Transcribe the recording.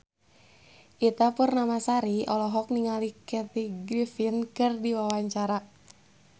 Ita Purnamasari olohok ningali Kathy Griffin keur diwawancara